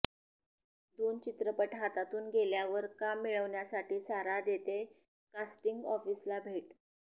दोन चित्रपट हातातून गेल्यावर काम मिळवण्यासाठी सारा देतेय कास्टिंग ऑफिसना भेट